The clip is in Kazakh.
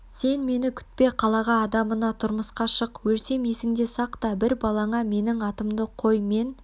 сен мені күтпе қалаға адамына тұрмысқа шық өлсем есіңде сақта бір балаңа менің атымды қой мен